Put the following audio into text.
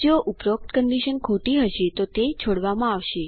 જો ઉપરોક્ત કન્ડીશન ખોટી હશે તો તે છોડવામાં આવશે